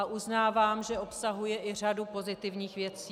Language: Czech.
A uznávám, že obsahuje i řadu pozitivních věcí.